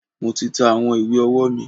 Mo ti ta àwọn ìwé ọwọ́ mi.